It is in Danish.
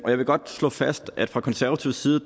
jeg vil godt slå fast at vi fra konservativ side